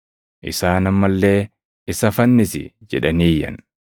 Isaan amma illee, “Isa fannisi!” jedhanii iyyan.